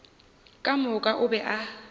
ka moka o be a